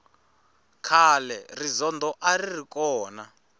khale rizondho a ri ri kona